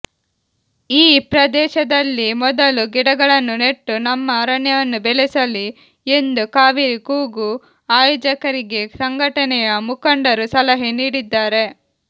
ಈ ಪ್ರದೇಶದಲ್ಲಿಮೊದಲು ಗಿಡಗಳನ್ನು ನೆಟ್ಟು ನಮ್ಮ ಅರಣ್ಯವನ್ನು ಬೆಳೆಸಲಿ ಎಂದು ಕಾವೇರಿ ಕೂಗು ಆಯೋಜಕರಿಗೆ ಸಂಘಟನೆಯ ಮುಖಂಡರು ಸಲಹೆ ನೀಡಿದ್ದಾರೆ